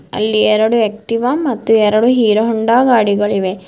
ಅಲ್ಲಿ ಎರಡು ಆಕ್ಟಿವ ಮತ್ತು ಎರಡು ಹೀರೋ ಹೋಂಡಾ ಗಾಡಿಗಳಿವೆ.